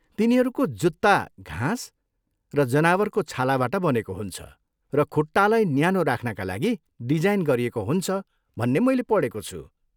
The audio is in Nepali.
तिनीहरूको जुत्ता घाँस र जनावरको छालाबाट बनेको हुन्छ र खुट्टालाई न्यानो राख्नका लागि डिजाइन गरिएको हुन्छ भन्ने मैले पढेको छु।